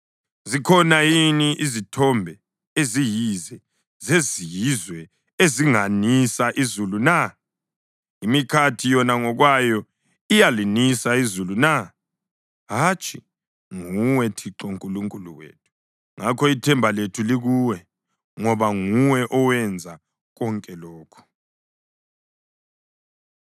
Zikhona yini izithombe eziyize zezizwe ezinganisa izulu na? Imikhathi yona ngokwayo iyalinisa izulu na? Hatshi, nguwe, Thixo Nkulunkulu wethu. Ngakho ithemba lethu likuwe, ngoba nguwe owenza konke lokhu.